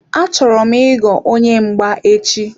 Achọrọ m ịghọ onye mgba echi.